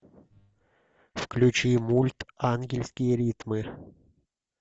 включи мульт ангельские ритмы